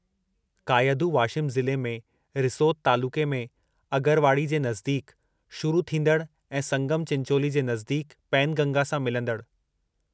कायधु वाशिम ज़िले में रिसोद तालुक़े में अगरवाड़ी जे नज़दीक़ शुरू थींदड़ ऐं संगम चिंचोली जे नज़दीक़ पैनगंगा सां मिलंदड़